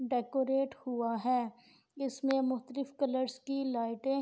decorate ہوا ہے اس مے مقتالیف کالرس کی لیٹے